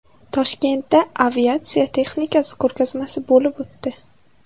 Toshkentda aviatsiya texnikasi ko‘rgazmasi bo‘lib o‘tdi .